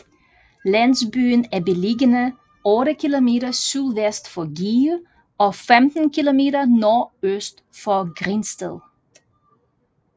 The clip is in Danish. Landsbyen er beliggende otte kilometer sydvest for Give og 15 kilometer nordøst for Grindsted